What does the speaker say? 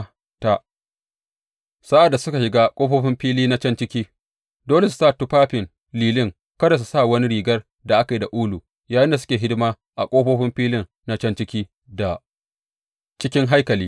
Sa’ad da suka shiga ƙofofin fili na can ciki, dole su sa tufafin lilin; kada su sa wani rigar da aka yi da ulu yayinda suke hidima a ƙofofin fili na can ciki da cikin haikali.